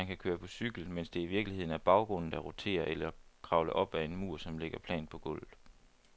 Man kan køre på cykel, mens det i virkeligheden er baggrunden, der roterer, eller kravle op ad en mur, som ligger plant på gulvet.